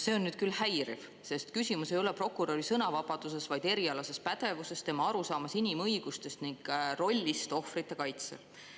See on nüüd küll häiriv, sest küsimus ei ole prokuröri sõnavabaduses, vaid erialases pädevuses, tema arusaamas inimõigustest ning rollist ohvrite kaitsel.